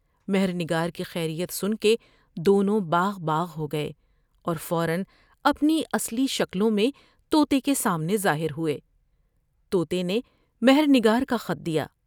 مہر نگار کی خیریت سن کے دونوں باغ باغ ہو گئے اور فورا اپنی اصلی شکلوں میں تو طے کے سامنے ظاہر ہوۓ ۔تو تے نے مہر نگار کا خط دیا ۔